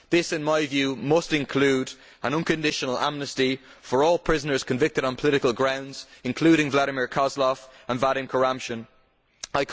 This in my view must include an unconditional amnesty for all prisoners convicted on political grounds, including Vladimir Kozlov and Vadim Kuramshin.